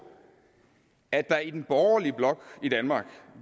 at der i den borgerlige blok i danmark